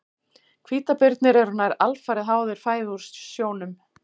Hvítabirnir eru nær alfarið háðir fæðu úr sjónum.